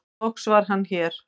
loks var Hann hér